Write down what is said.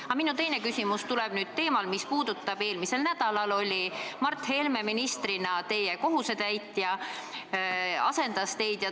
Aga minu teine küsimus tuleb teemal, mis puudutab seda, et eelmisel nädalal oli Mart Helme ministrina teie kohusetäitja, asendas teid.